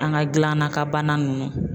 An ka gilanna kan bana nunnu.